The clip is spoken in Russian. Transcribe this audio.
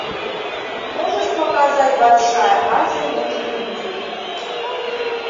можешь показать большая азия на телевизоре